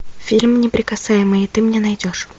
фильм неприкасаемые ты мне найдешь